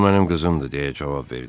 O mənim qızımdır deyə cavab verdi.